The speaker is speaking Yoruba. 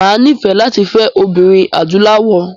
Mà á nífẹ̀ẹ́ láti fẹ́ obìnrin adúláwọ̀.